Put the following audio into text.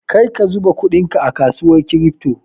Karka zuba kudinka a kasuwar kirifto!